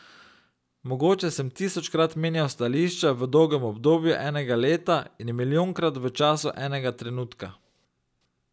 Mogoče sem tisočkrat menjal stališča v dolgem obdobju enega leta in milijonkrat v času enega trenutka.